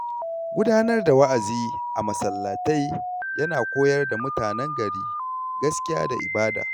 Gudanar da wa’azi a masallatai ya na koyar da mutanen gari gaskiya da ibada.